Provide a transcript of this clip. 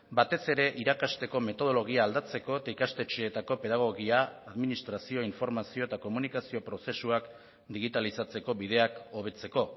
batez ere irakasteko metodologia aldatzeko eta ikastetxeetako pedagogia administrazio informazio eta komunikazio prozesuak digitalizatzeko bideak hobetzeko